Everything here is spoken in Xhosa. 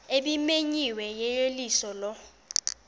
ebimenyiwe yeyeliso lo